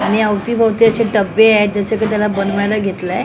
आणि अवतीभवती असे टब्बे आहेत जसं की त्याला बनवायला घेतलंय.